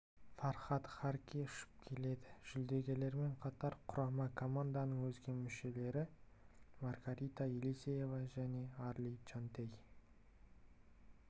фархад харки ұшып келеді жүлдегерлермен қатар құрама команданың өзге мүшелері маргарита елисеева және арли чонтей